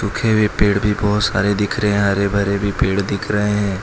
सूखे हुए पेड़ भी बोहोत सारे दिख रहे हैं हरे भरे भी पेड़ दिख रहे हैं।